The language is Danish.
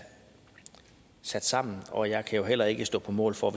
sat sammen og jeg kan jo heller ikke stå på mål for